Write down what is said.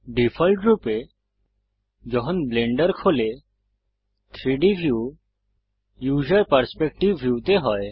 ডিফল্টরূপে যখন ব্লেন্ডার খোলে 3ডি ভিউ উসের পার্সপেক্টিভ ভিউ তে হয়